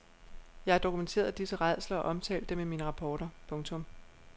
Jeg har dokumenteret disse rædsler og omtalt dem i mine rapporter. punktum